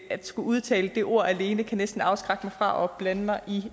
at skulle udtale det jo alene næsten kan afskrække mig fra at blande mig i